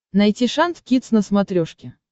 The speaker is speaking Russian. найти шант кидс на смотрешке